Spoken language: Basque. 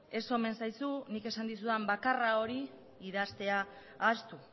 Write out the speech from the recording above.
ez omen zaizu nik esan dizudan bakarra hori idaztea ahaztu